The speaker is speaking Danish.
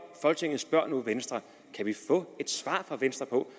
folketinget spørger venstre kan vi få et svar fra venstre på